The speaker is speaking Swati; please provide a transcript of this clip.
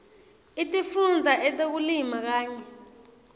etifundza etekulima kanye